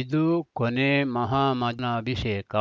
ಇದು ಕೊನೇ ಮಹಾಮನಷೇಕ